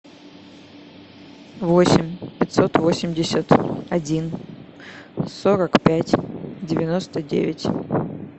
восемь пятьсот восемьдесят один сорок пять девяносто девять